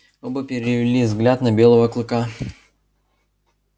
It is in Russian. оба перевели взгляд на белого клыка